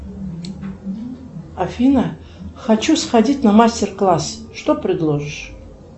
афина хочу сходить на мастер класс что предложишь